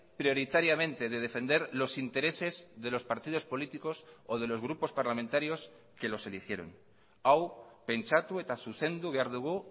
prioritariamente de defender los intereses de los partidos políticos o de los grupos parlamentarios que los eligieron hau pentsatu eta zuzendu behar dugu